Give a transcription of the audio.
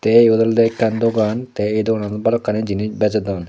tay yot olode ekkan dogan tay ei dogananot balokkani jinis bejodon.